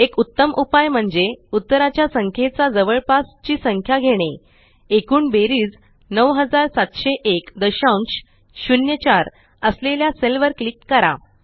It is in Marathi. एक उत्तम उपाय म्हणजे उत्तराच्या संखेचा जवळपास ची संख्या घेणे एकूण बेरीज 970104 असलेल्या सेल वर क्लिक करा